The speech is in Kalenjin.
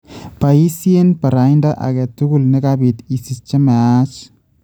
Bayiisyee barayinta aketukul nekabik isich che maache